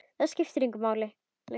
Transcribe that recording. Það skipti engu máli lengur.